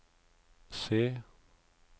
se